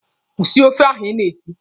Kwụsị ofe ahụ Ị na-esi!